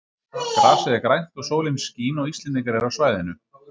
Grasið er grænt og sólin skín og Íslendingar eru á svæðinu.